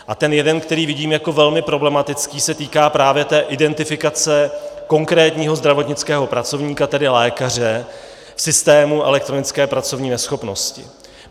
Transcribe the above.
A ten jeden, který vidím jako velmi problematický, se týká právě té identifikace konkrétního zdravotnického pracovníka, tedy lékaře v systému elektronické pracovní neschopnosti.